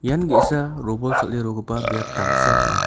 ian ge·sa robol kal·e rogipa biap damsa ong·a.